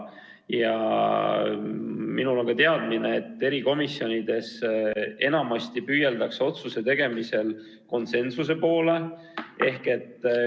Ja minul on ka teadmine, et erikomisjonides enamasti püüeldakse otsuse tegemisel konsensuse poole.